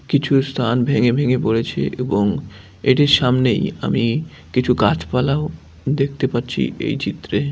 কিছু স্থান ভেঙ্গে ভেঙ্গে পড়েছে এবং এটির সামনেই আমি কিছু গাছপালাও দেখতে পাচ্ছি এই চিত্রে।